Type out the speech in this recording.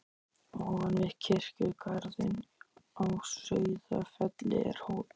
Ofan við kirkjugarðinn á Sauðafelli er hóll.